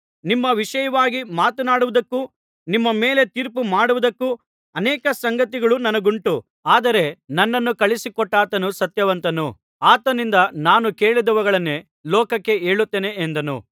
ನಿಮ್ಮ ವಿಷಯವಾಗಿ ಮಾತನಾಡುವುದಕ್ಕೂ ನಿಮ್ಮ ಮೇಲೆ ತೀರ್ಪು ಮಾಡುವುದಕ್ಕೂ ಅನೇಕ ಸಂಗತಿಗಳು ನನಗುಂಟು ಆದರೆ ನನ್ನನ್ನು ಕಳುಹಿಸಿ ಕೊಟ್ಟಾತನು ಸತ್ಯವಂತನು ಆತನಿಂದ ನಾನು ಕೇಳಿದವುಗಳನ್ನೇ ಲೋಕಕ್ಕೆ ಹೇಳುತ್ತೇನೆ ಎಂದನು